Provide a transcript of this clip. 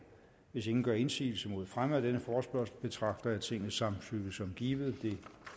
hvis ingen gør indsigelse mod fremme af denne forespørgsel betragter jeg tingets samtykke som givet det